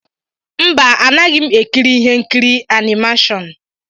Mba Anaghị m ekiri ihe nkiri animashon.